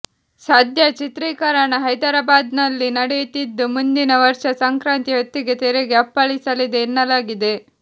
ಸದ್ಯ ಚಿತ್ರೀಕರಣ ಹೈದರಾಬಾದ್ನಲ್ಲಿ ನಡೆಯುತ್ತಿದ್ದು ಮುಂದಿನ ವರ್ಷ ಸಂಕ್ರಾಂತಿ ಹೊತ್ತಿಗೆ ತೆರೆಗೆ ಅಪ್ಪಳಿಸಲಿದೆ ಎನ್ನಲಾಗಿದೆ